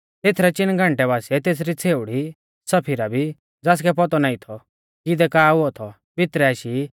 तेथरै चिन घंटै बासिऐ तेसरी छ़ेउड़ी सफीरा भी ज़ासकै पौतौ नाईं थौ कि इदै का हुऔ थौ भितरै आशी